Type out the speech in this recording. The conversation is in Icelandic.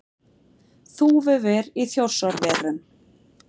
Þúfuver í Þjórsárverum.